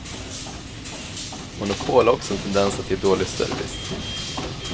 Monopol har också en tendens att ge dålig service.